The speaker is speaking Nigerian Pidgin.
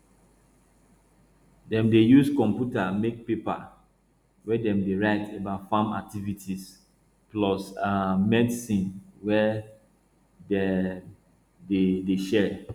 dem dey use computer make paper wey dem dey write about farm activities plus um medicine wey um dem dey dey share